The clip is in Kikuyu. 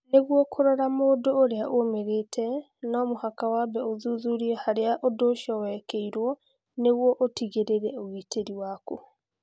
Nĩguo kũrora mũndũ ũrĩa ũmĩrĩte, no mũhaka wambe ũthuthurie harĩa ũndũ ũcio wekĩirũo nĩguo ũtigĩrĩre ũgitĩri waku.